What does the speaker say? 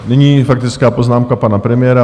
Nyní faktická poznámka pana premiéra.